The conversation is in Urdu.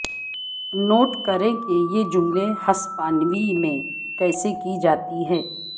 نوٹ کریں کہ یہ جملے ہسپانوی میں کیسے کی جاتی ہیں